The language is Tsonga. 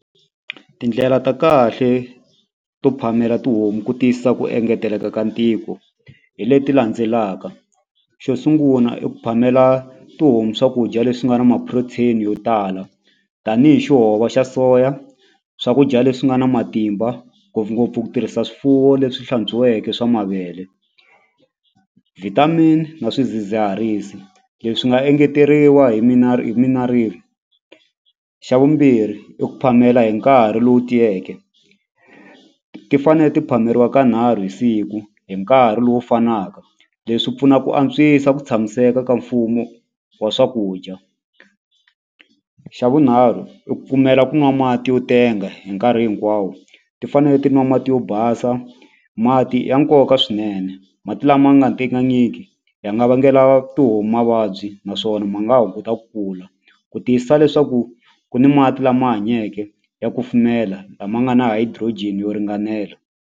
Tindlela ta kahle to phamela tihomu ku tiyisisa ku engeteleka ka ntiko hi leti landzelaka xo sungula i ku phamena tihomu swakudya leswi nga ni ma-protein yo tala tanihi xa soya swakudya leswi nga na matimba ngopfungopfu ku tirhisa swifuwo leswi hlantswiweke swa mavele vitamin na swidzidziharisi leswi nga engeteriwa hi hi xa vumbirhi i ku phamela hi nkarhi lowu tiyeke ti fane ti phameriwa kanharhu hi siku hi nkarhi lowu fanaka leswi pfuna ku antswisa ku tshamiseka ka mfumo wa swakudya xa vunharhu i ku pfumela ku nwa mati yo tenga hi nkarhi hinkwawo ti fanele ti nwa mati yo basa mati ya nkoka swinene mati lama nga tengangiki ya nga vangela tihomu mavabyi naswona ma nga hunguta ku kula ku tiyisisa leswaku ku ni mati lama hanyeke ya kufumela lama nga na hydrogen yo ringanela.